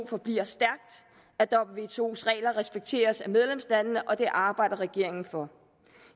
forbliver stærkt at wtos regler respekteres af medlemslandene og det arbejder regeringen for